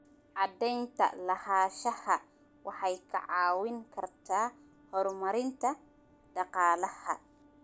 Cadaynta lahaanshaha waxay kaa caawin kartaa horumarinta dhaqaalaha.